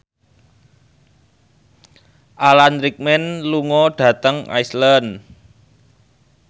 Alan Rickman lunga dhateng Iceland